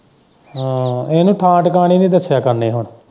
ਹਮ ਉਹਨੂੰ ਥਾਂ ਟਿਕਣੇ ਨੀ ਦੱਸਿਆਂ ਕਰਨੇ ਹੁਣ।